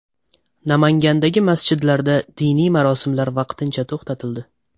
Namangandagi masjidlarda diniy marosimlar vaqtincha to‘xtatildi.